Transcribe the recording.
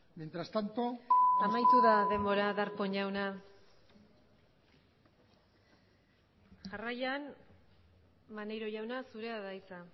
mientras tanto amaitu da denbora darpón jauna jarraian maneiro jauna zurea da hitza